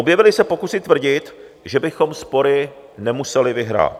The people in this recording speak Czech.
Objevily se pokusy tvrdit, že bychom spory nemuseli vyhrát.